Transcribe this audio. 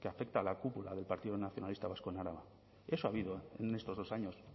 que afecta a la cúpula del partido nacionalista vasco en araba eso ha habido en estos dos años